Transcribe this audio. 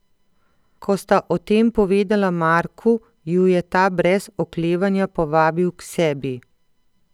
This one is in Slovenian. Ko sta o tem povedala Marku, ju je ta brez oklevanja povabil k sebi.